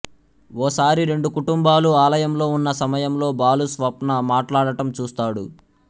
ఓ సారి రెండు కుటుంబాలూ ఆలయంలో ఉన్న సమయంలో బాలు స్వప్న మాట్లాడటం చూస్తాడు